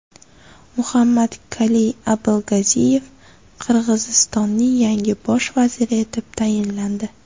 Muhammadkali Abilgaziyev Qirg‘izistonning yangi bosh vaziri etib tayinlandi.